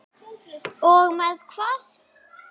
Og með hvað?